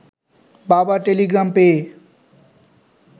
বাবার টেলিগ্রাম পেয়ে